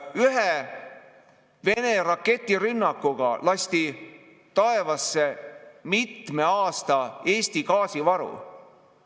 Ühe Vene raketirünnakuga lasti taevasse Eesti mitme aasta gaasivaru.